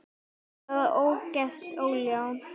Þetta er bara algert ólán.